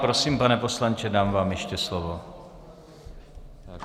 Prosím, pane poslanče, dám vám ještě slovo.